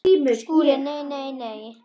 SKÚLI: Nei, nei, nei!